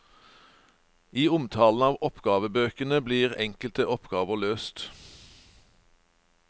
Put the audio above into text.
I omtalen av oppgavebøkene blir enkelte oppgaver løst.